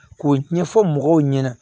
K'o ɲɛfɔ mɔgɔw ɲɛna